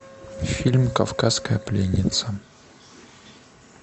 фильм кавказская пленница